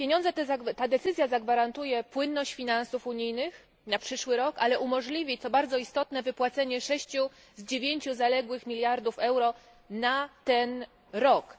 Ta decyzja zagwarantuje płynność finansów unijnych na przyszły rok, ale umożliwi co bardzo istotne wypłacenie sześciu z dziewięciu zaległych miliardów euro na ten rok.